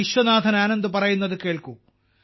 വിശ്വനാഥൻ ആനന്ദ് പറയുന്നത് കേൾക്കൂ